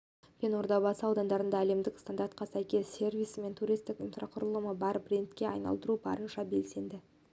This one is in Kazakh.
пен ордабасы аудандарында әлемдік стандартқа сәйкес сервисі мен туристік инфрақұрылымы бар брендке айналдыру бойынша белсенді